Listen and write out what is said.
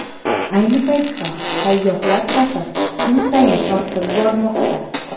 Ayni paytda sayyohlar safi kun sayin ortib bormoqda.